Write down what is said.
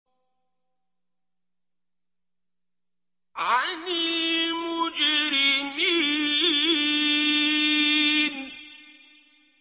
عَنِ الْمُجْرِمِينَ